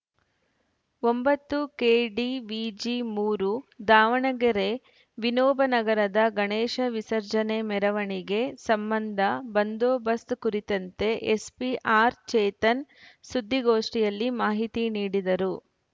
ಒಂಬತ್ತು ಕೆಡಿವಿಜಿ ಮೂರು ದಾವಣಗೆರೆ ವಿನೋಬ ನಗರದ ಗಣೇಶ ವಿಸರ್ಜನೆ ಮೆರವಣಿಗೆ ಸಂಬಂಧ ಬಂದೋಬಸ್ತ್ ಕುರಿತಂತೆ ಎಸ್ಪಿ ಆರ್‌ಚೇತನ್‌ ಸುದ್ದಿಗೋಷ್ಠಿಯಲ್ಲಿ ಮಾಹಿತಿ ನೀಡಿದರು